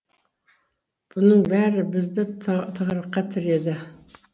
бұның бәрі бізді тығырыққа тіреді